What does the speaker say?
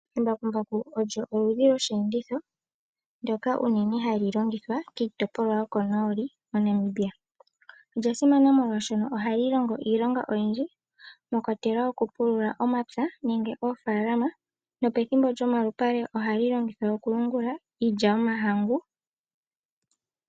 Embakumbaku olyo oludhi lwosheenditho shoka hashi longithwa kombinga yoko nooli MoNamibia. Olya simana molwaashoka ohali longo iilonga oyindji, mwakwatelwa okupulula momapya nenge moofalama, nopethimbo lyokuyungula, ohali longithwa okuyungula iilya yomahangu.